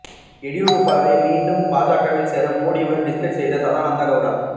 எதியூரப்பாவை மீண்டும் பாஜகவில் சேர்க்க மோடியுடன் டிஸ்கஸ் செய்த சதானந்த கெளடா